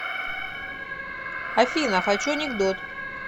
афина хочу анекдот